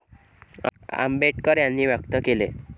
आंबेडकर यांनी व्यक्त केले.